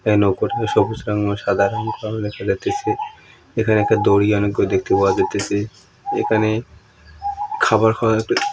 এই নৌকো টিতে সবুজ রং এবং সাদা রং এর দেখা যাইতেছে এখানে একটা দড়ি অনেক গুলো দেখতে পাওয়া যাইতেছে এখানে খাবার খাওয়া--